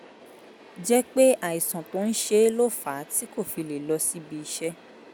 jẹ́ pé àìsàn tó ń ṣe é ló fà á tí kò fi lè lọ síbi iṣẹ́